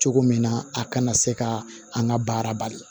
Cogo min na a kana se ka an ka baara bali